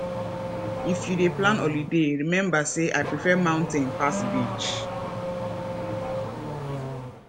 if you dey plan holiday rememba sey i prefer mountain pass beach